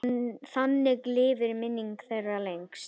Þannig lifir minning þeirra lengst.